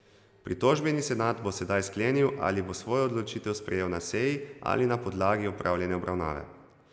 Pritožbeni senat bo sedaj sklenil, ali bo svojo odločitev sprejel na seji ali na podlagi opravljene obravnave.